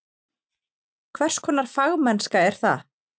Hvers konar fagmennska er það?